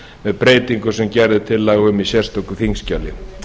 með breytingum sem gerð er tillaga um í sérstöku þingskjali